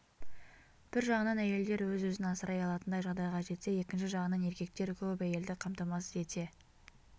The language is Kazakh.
бір жағынан әйелдер өз-өзін асырай алатындай жағдайға жетсе екінші жағынан еркектер көп әйелді қамтамасыз ете